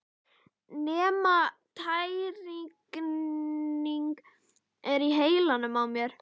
Nema tæringin er í heilanum á mér!